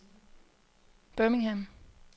Birmingham